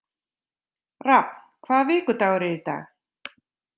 Rafn, hvaða vikudagur er í dag?